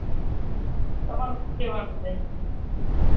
તમારું સુ કહેવાનું સે